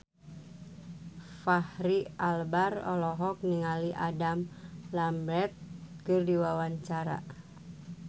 Fachri Albar olohok ningali Adam Lambert keur diwawancara